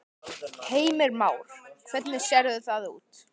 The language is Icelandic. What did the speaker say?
Heimir Már: Hvernig sérðu það út?